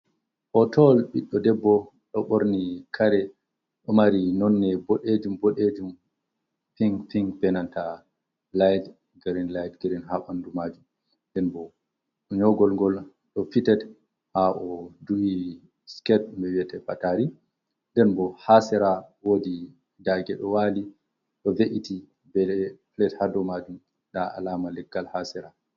Hootowol ɓiɗɗo debbo ɗon ɓorni kare, ɗon mari nonnde boɗeejum-bodeejum, "pink-pink" bee nanta "light green", "light green" haa ɓanndu maajum. Nden boo nyoogol ngol ɗon "fitet" haa o duhi "siket" ɗum wi'etee pataari, nden bo haa sera daage ɗo waali ɗo ve''iti bee "pilet" haa dow maajum, ndaa "alaama" leggal haa sera.